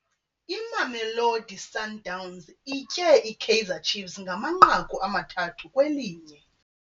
Imamelodi Sundowns itye iKaizer Ciefs ngamanqaku amathathu kwelinye.